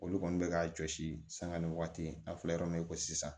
Olu kɔni bɛ k'a jɔsi sanga ni waati n'a fɔra yɔrɔ min na i ko sisan